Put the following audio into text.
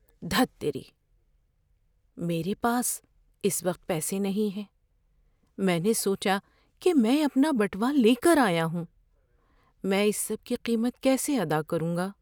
دھت تیری! میرے پاس اس وقت پیسے نہیں ہیں، میں نے سوچا کہ میں اپنا بٹوا لے کر آیا ہوں۔ میں اس سب کی قیمت کیسے ادا کروں گا؟